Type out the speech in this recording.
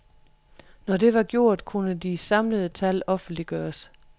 Når det var gjort, kunne de samlede tal offentliggøres.